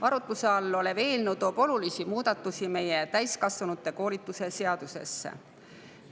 Arutluse all olev eelnõu toob olulisi muudatusi täiskasvanute koolituse seadusesse.